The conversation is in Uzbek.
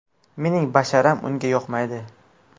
Mening basharam unga yoqmaydi.